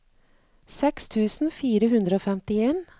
seks tusen fire hundre og femtien